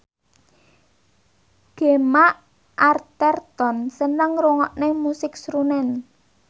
Gemma Arterton seneng ngrungokne musik srunen